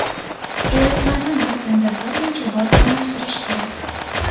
Eritmani bir kunda bir necha bor almashtirish kerak.